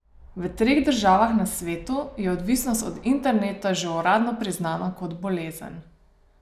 V treh državah na svetu je odvisnost od interneta že uradno priznana kot bolezen.